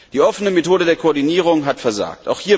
Die offene Methode der Koordinierung hat versagt.